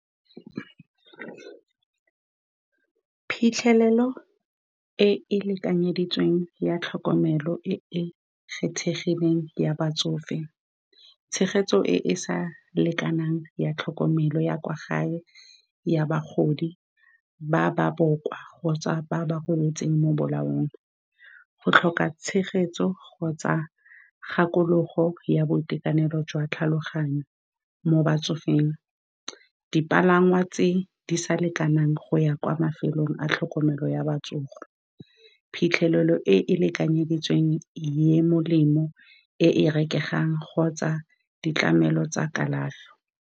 Phitlhelelo e e lekanyeditsweng ya tlhokomelo e e kgethegileng ya batsofe, tshegetso e e sa lekanang ya tlhokomelo ya kwa gae ya bagodi ba ba bokoa kgotsa ba ba golafetseng mo bolaong, go tlhoka tshegetso kgotsa kgakologo ya boitekanelo jwa tlhaloganyo mo batsofeng, dipalangwa tse di sa lekanang go ya kwa mafelong a tlhokomelo ya botsofe, phitlhelelo e e lekanyeditsweng e molemo e e rekegang kgotsa ditlamelo tsa kalafi.